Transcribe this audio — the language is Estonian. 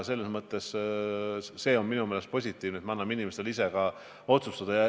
Minu meelest on positiivne, et me anname inimestele vabaduse ise otsustada.